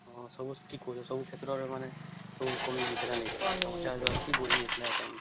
ହଁ ସବୁ ଠି ସବୁ କ୍ଷେତ୍ର ରେ ମାନେ ସବୁ କମି ଯାଇଥିଲା ନାଇଁ କି